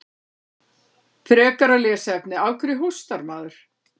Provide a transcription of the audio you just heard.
Frekara lesefni: Af hverju hóstar maður?